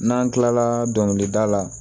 N'an kilala dɔnkilida la